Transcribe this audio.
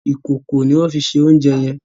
Ìkòkò ni wọ́n fi se oúnjẹ yẹn.